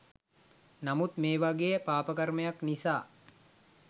නමුත් මේ වගේ පාපකර්මයක් නිසා